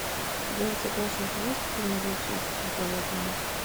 у тебя в загашнике есть фильм вечность сезон одиннадцать